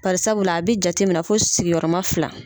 Barisabula a be jateminɛ fo sigiyɔrɔma fila.